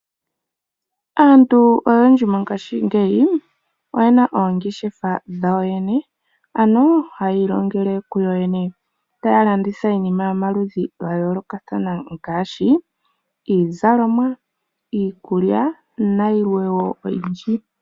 Aantu oyendji mongashingeyi, oyena oongeshefa dhawo yene, ano hayii longele kuyo yene. Taa landitha iinima yomaludhi ga yoolokathana ngaashi iizalomwa, iikulya , nayilwe wo oyindji.